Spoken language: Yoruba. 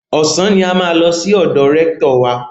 Ọ̀sán ni a máa lọ sí ọ̀dọ̀ rẹ́ktọ̀ wa.